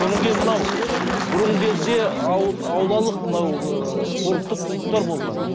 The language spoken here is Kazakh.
сонан кейін мынау бұрынғы кезде аулалық мынау ыыы спорттық клубтар болған